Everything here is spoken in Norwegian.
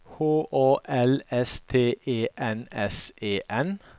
H A L S T E N S E N